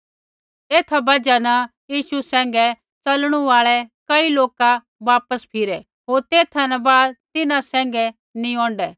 एथा बजहा न यीशु सैंघै च़लणु आल़ै कई लोका वापिस पिछ़ै फिरै होर तेथा न बाद तिन्हां सैंघै नी औंढै